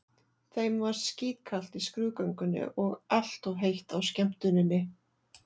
Þeim var skítkalt í skrúðgöngunni og allt of heitt á skemmtuninni.